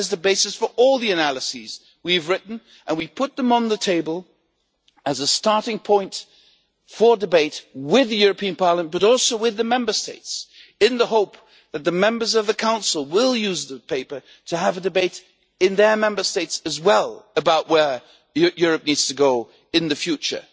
That is the basis for all the analyses we have written, and we put them on the table as a starting point for debate with Parliament, but also with the Member States in the hope that the members of the Council will use the paper to have a debate in their Member States about where Europe needs to go in the future.